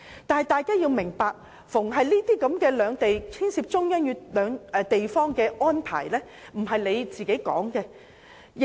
但大家要明白，凡涉及兩地即中央與地方之間的安排，並非我們可以作主。